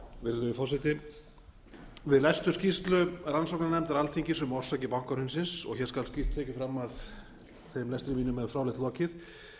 virðulegur forseti við lestur skýrslu rannsóknarnefndar alþingis um orsakir bankahrunsins og hér skal skýrt tekið fram að þeim lestri mínum er fráleitt lokið